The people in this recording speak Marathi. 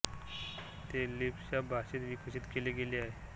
ते लिस्प या भाषेत विकसित केले गेले आहे